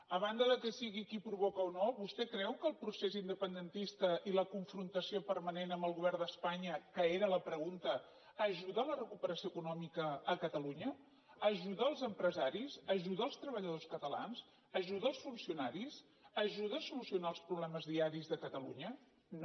a banda que sigui qui provoca o no vostè creu que el procés independentista i la confrontació permanent amb el govern d’espanya que era la pregunta ajuda a la recuperació econòmica a catalunya ajuda els empresaris ajuda els treballadors catalans ajuda els funcionaris ajuda a solucionar els problemes diaris de catalunya no